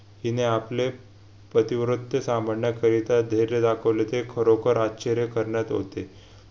हिने आपले पतिव्रत्य साम्भाडण्याकरिता धैर्य दाखविले ते खरोखर आश्चर्य करण्यात होते